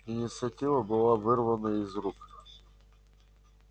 инициатива была вырвана из их рук